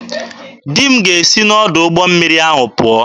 Di m ga-esi n'ọdụ ụgbọ mmiri ahụ pụọ.